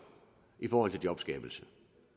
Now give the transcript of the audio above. i forhold til jobskabelse